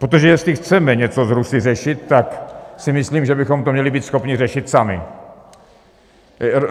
Protože jestli chceme něco s Rusy řešit, tak si myslím, že bychom to měli být schopni řešit sami.